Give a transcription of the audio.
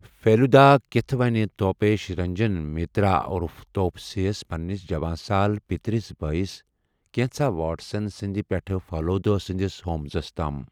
پھیلُدا كتھہٕ ونہِ توپیش رنجن مِترا عٗرف توپسے ہس پننِس جواں سال پِترِس بٲیس ، كینژھاہ واٹسن سندِ پیٹھہٕ پھیلوُدا سندِس ہومزس تام ۔